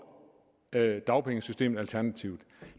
dagpengesystemet alternativt